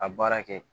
A baara kɛ